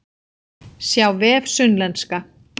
Sjá vef Sunnlenska